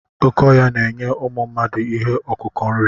Oké ọhịa na-enye ụmụ mmadụ ihe ọkụkụ nri.